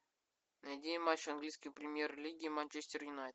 найди матч английской премьер лиги манчестер юнайтед